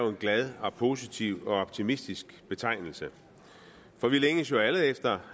glad positiv og optimistisk betegnelse for vi længes jo alle efter